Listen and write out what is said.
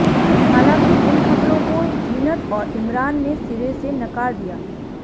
हालांकि इन खबरों को जीनत और इमरान ने सिरे से नकार दिया